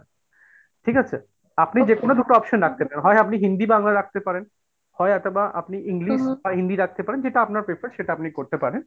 ঠিক আছে? আপনি যে কোনো দুটো option রাখতে পারেন, হয় আপনি হিন্দি বাংলা রাখতে পারেন, হয় অথবা আপনি English বা হিন্দি রাখতে পারেন, যেটা আপনার prefer সেটা আপনি করতে পারেন